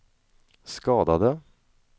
skadade